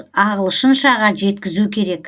ағылшыншаға жеткізу керек